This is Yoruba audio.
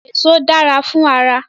Èso dára fún ara